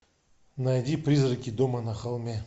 найди призраки дома на холме